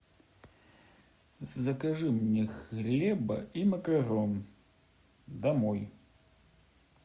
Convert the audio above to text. закажи мне хлеба и макарон домой